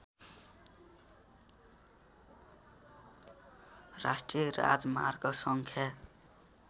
राष्ट्रिय राजमार्ग सङ्ख्या